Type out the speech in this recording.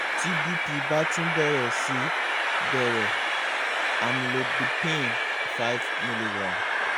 ti bp ba tun bẹrẹ si bẹrẹ amlodipine five mg